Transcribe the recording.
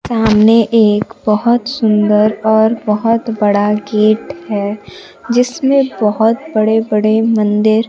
सामने एक बहुत सुंदर और बहुत बड़ा गेट है जिसमें बहुत बड़े बड़े मंदिर--